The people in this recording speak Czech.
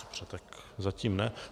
Dobře, tak zatím ne.